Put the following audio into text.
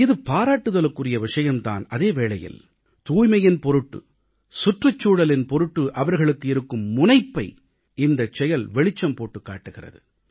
இது பாராட்டுதலுக்குரிய விஷயம் தான் அதே வேளையில் தூய்மையின் பொருட்டு சுற்றுச்சூழலின் பொருட்டு அவர்களுக்கு இருக்கும் முனைப்பை இந்தச்செயல் வெளிச்சம் போட்டுக் காட்டுகிறது